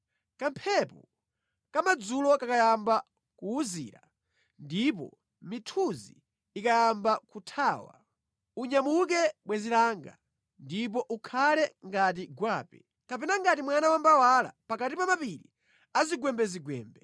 Kamphepo kamadzulo kakayamba kuwuzira ndipo mithunzi ikayamba kuthawa, unyamuke bwenzi langa, ndipo ukhale ngati gwape kapena ngati mwana wa mbawala pakati pa mapiri azigwembezigwembe.